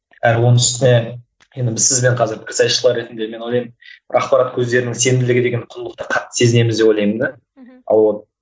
әрі оның үстіне енді біз сізбен қазір пікірсайысшылар ретінде мен ойлаймын бір ақпарат көздерінің сенімділігі деген құндылықты қатты сезінеміз деп ойлаймын да мхм